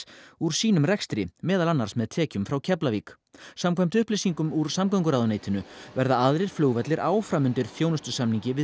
úr sínum rekstri meðal annars með tekjum frá Keflavík samkvæmt upplýsingum úr samgönguráðuneytinu verða aðrir flugvellir áfram undir þjónustusamningi við